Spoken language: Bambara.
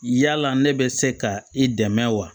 Yala ne bɛ se ka i dɛmɛ wa